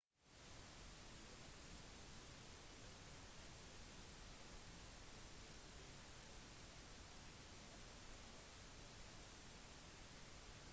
diplomatiske uenigheter om regionen fortsetter å skade relasjonen mellom armenia og aserbajdsjan